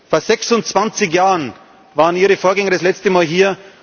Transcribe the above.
Vor 26 Jahren waren Ihre Vorgänger das letzte Mal hier.